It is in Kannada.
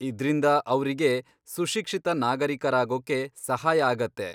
ಇದ್ರಿಂದ ಅವ್ರಿಗೆ ಸುಶಿಕ್ಷಿತ ನಾಗರೀಕರಾಗೊಕ್ಕೆ ಸಹಾಯ ಆಗತ್ತೆ.